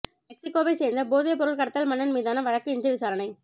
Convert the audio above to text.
மெக்சிக்கோவை சேர்ந்த போதைப்பொருள் கடத்தல் மன்னன் மீதான வழக்கு இன்று விசாரணை